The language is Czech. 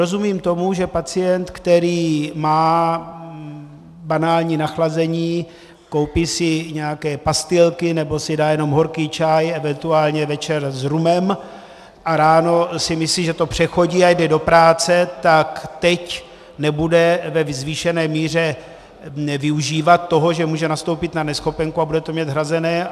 Rozumím tomu, že pacient, který má banální nachlazení, koupí si nějaké pastilky nebo si dá jenom horký čaj eventuálně večer s rumem a ráno si myslí, že to přechodí, a jde o práce, tak teď nebude ve zvýšené míře využívat toho, že může nastoupit na neschopenku a bude to mít hrazené.